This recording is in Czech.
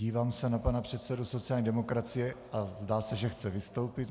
Dívám se na pana předsedu sociální demokracie a zdá se, že chce vystoupit.